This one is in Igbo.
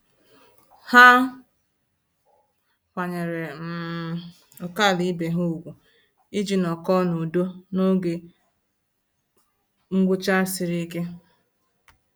Ha kwanyere um ókèala ibe ha ùgwù iji nọkọ na-udo n'oge ngwụcha sịrị ike